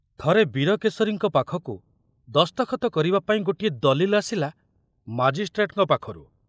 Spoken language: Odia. ଥରେ ବୀରକେଶରୀଙ୍କ ପାଖକୁ ଦସ୍ତଖତ କରିବାପାଇଁ ଗୋଟିଏ ଦଲିଲ ଆସିଲା ମାଜିଷ୍ଟ୍ରେଟଙ୍କ ପାଖରୁ।